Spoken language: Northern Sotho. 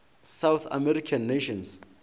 south american nations